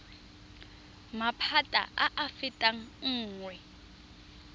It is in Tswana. maphata a a fetang nngwe